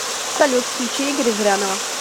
салют включи игоря зырянова